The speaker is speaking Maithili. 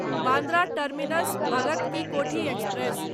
Bandra terminus Bhagat ki Kothi express